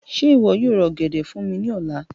Ṣe iwọ yoo ra ogede fun mi ni ọla?